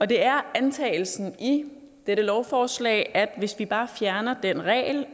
det er antagelsen i dette lovforslag at hvis vi bare fjerner den regel